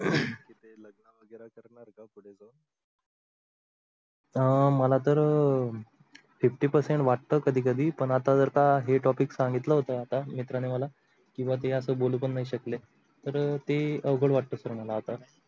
अं मला तर fifty percent वाटत कधी कधी आपण आता जर का हे topic सांगितल होत आता मित्राणि मला किवा ते आता बोलू पण नाही शकले, तर ते अवगळ वाटतो sir मला आता.